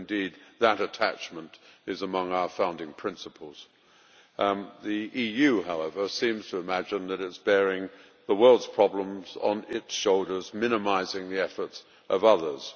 indeed that attachment is among our founding principles. The EU, however, seems to imagine that it is bearing the world's problems on its shoulders, minimising the effort of others.